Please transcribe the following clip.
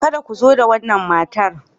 Kada ku zo da wannan matar.